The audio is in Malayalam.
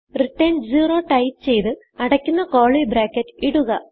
റിട്ടർൻ 0ടൈപ്പ് ചെയ്ത് അടയ്ക്കുന്ന curlyബ്രാക്കറ്റ് ഇടുക